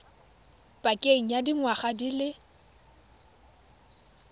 pakeng ya dingwaga di le